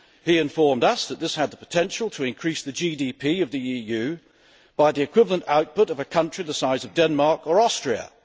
He informed us that this had the potential to increase the GDP of the EU by the equivalent output of a country the size of Denmark or Austria.